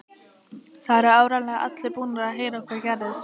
Það eru áreiðanlega allir búnir að heyra hvað gerðist.